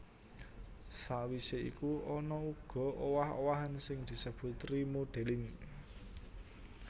Sawisé iku ana uga owah owahan sing disebut remodelling